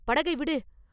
படகை விடு!